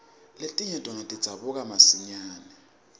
letinye tona tidzabuka masinyane